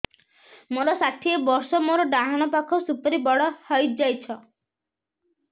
ମୋର ଷାଠିଏ ବର୍ଷ ମୋର ଡାହାଣ ପାଖ ସୁପାରୀ ବଡ ହୈ ଯାଇଛ